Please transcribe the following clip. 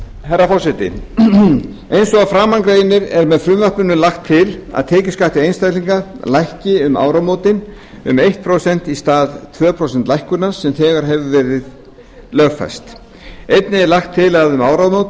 herra forseti eins og að framan greinir er með frumvarpinu lagt til að tekjuskattur einstaklinga lækki um áramótin um eitt prósent í stað tveggja prósenta lækkunar sem þegar hafði verið lögfest einnig er lagt til að um áramót